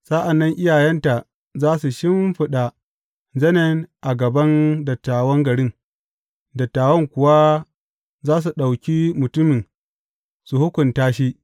Sa’an nan iyayenta za su shimfiɗa zanen a gaban dattawan garin, dattawan kuwa za su ɗauki mutumin su hukunta shi.